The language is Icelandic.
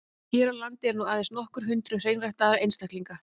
Hér á landi eru nú aðeins nokkur hundruð hreinræktaðra einstaklinga.